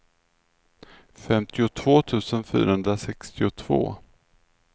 femtiotvå tusen fyrahundrasextiotvå